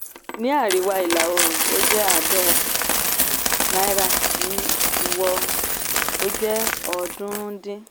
ní àríwá ìlà oòrùn ó jẹ́ àádọ́wàá náírà ní ìwọ ó jẹ́ ọ̀ọ́dúnrún dín.